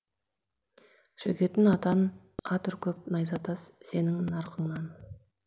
шөгетін атан ат үркіп найзатас сенің нарқыңнан